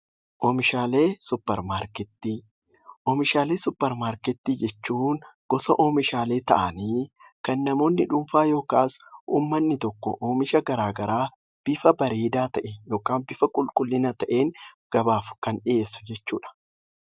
Oomishaalee suupparmaarkeetii jechuun gosa oomishaalee ta'anii kan namoonni dhuunfaa yookiis uummanni tokko oomisha garaagaraa bifa bareedaa ta'een yookaan bifa qulqullina qabuun gabaaf kan dhiyeessudha jechuudha.